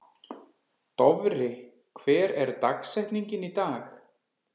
Dofri, hver er dagsetningin í dag?